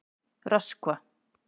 Röskva